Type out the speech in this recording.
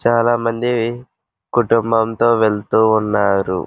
చాలా మంది కుటుంబం తో వెళ్తూ ఉన్నారు.